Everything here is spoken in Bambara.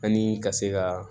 Ani ka se ka